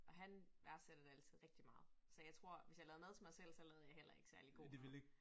Og han værdsætter det altid rigtig meget så jeg tror hvis jeg lavede mad til mig selv så lavede jeg heller ikke særlig god mad